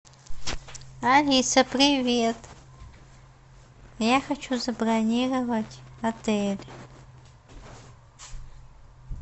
алиса привет я хочу забронировать отель